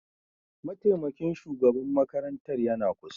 Mataimakin shugaban makarantar yana kusa